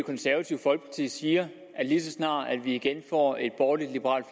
konservative folkeparti siger at lige så snart vi igen får et borgerlig liberalt